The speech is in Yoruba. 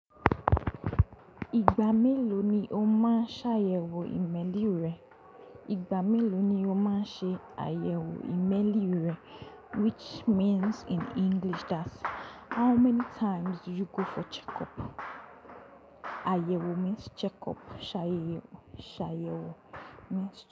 Ìgbà mélòó ni o máa ń ṣàyẹ̀wò ìmẹ́lí rẹ? Ìgbà mélòó ni o máa ń ṣe àyẹ̀wò ìmẹ́lí rẹ? Which means in English that how many times do you go for checkup? Àyẹ̀wò means checkup. Ṣàyẹ̀wò, ṣàyẹ̀wò means.